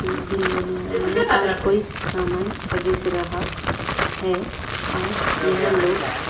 एक बिल बना रहा है और हर कोई समान खरीद रहा है और यह लोग--